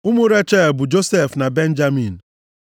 Ụmụ Rechel bụ, Josef na Benjamin.